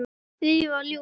Lífið var ljúft.